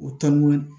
O taamu